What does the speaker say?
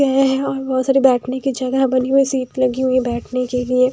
--हैं और बहुत सारी बैठने की जगह बनी हुई सीट लगी हुई है बैठने के लिए।